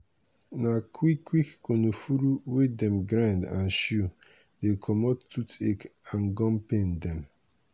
na quick quick konofuru wey dem grind and chew dey comot tooth ache and gum pain dem.